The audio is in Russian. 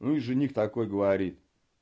ну и жених такой говорит